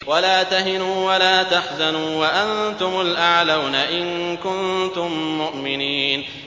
وَلَا تَهِنُوا وَلَا تَحْزَنُوا وَأَنتُمُ الْأَعْلَوْنَ إِن كُنتُم مُّؤْمِنِينَ